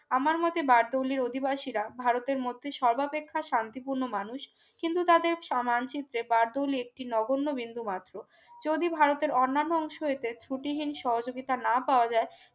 আমার মতে বারদৌলি র অধিবাসীরা ভারতের মধ্যে সর্বাপেক্ষা শান্তিপূর্ণ মানুষ কিন্তু তাদের সমান শিখতে বারদৌলি একটি নগণ্য বিন্দুমাত্র যদি ভারতের অন্যান্য অংশ এতে ত্রুটিহীন সহযোগিতা না পাওয়া যায়